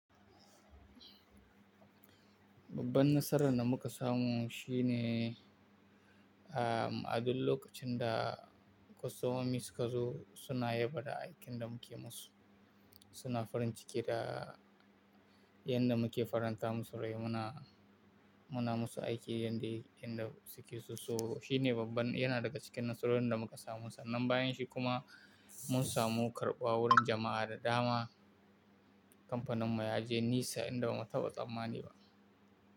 Babban nasarar da muka samu shine, ah, a duk lokacin da kostomomi su ka zo suna yaba da aikin da muke musu, suna farin ciki da yanda muke faranta musu rai. Muna, muna musu aiki yanda, yanda su ke so. So shi ne babban, yana daga cikin nasarorin da muka samu. Sannan bayan shi kuma mun samu karɓuwa wurin jama'a da dama. Kamfanin mu yaje nisa inda bamu taɓa tsammani ba.